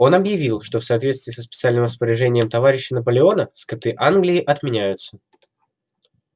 он объявил что в соответствии со специальным распоряжением товарища наполеона скоты англии отменяются